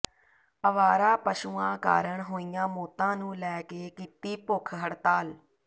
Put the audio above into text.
ਅਵਾਰਾ ਪਸ਼ੂਆਂ ਕਾਰਨ ਹੋਈਆਂ ਮੌਤਾਂ ਨੂੰ ਲੈ ਕੇ ਕੀਤੀ ਭੁੱਖ ਹੜਤਾਲ